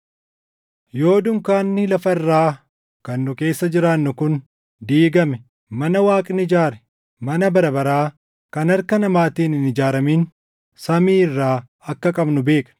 Yoo dunkaanni lafa irraa kan nu keessa jiraannu kun diigame mana Waaqni ijaare, mana bara baraa kan harka namaatiin hin ijaaramin samii irraa akka qabnu beekna.